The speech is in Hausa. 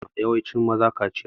Ana ma yawancin mazaje kachiya.